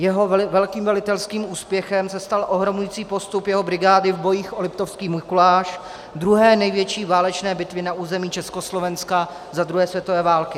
Jeho velkým velitelským úspěchem se stal ohromující postup jeho brigády v bojích o Liptovský Mikuláš, druhé největší válečné bitvy na území Československa za druhé světové války.